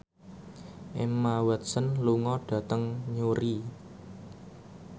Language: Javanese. Emma Watson lunga dhateng Newry